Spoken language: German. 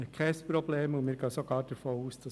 Deshalb ist das kein Problem.